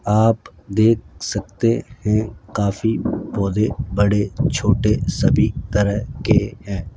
आप देख सकते हैं काफी पौधे बड़े छोटे सभी तरह के हैं।